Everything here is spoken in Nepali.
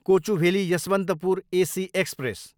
Kochuveli, Yesvantpur AC express